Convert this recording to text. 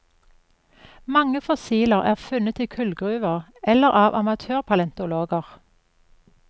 Mange fossil er funnet i kullgruver eller av amatør palentologer.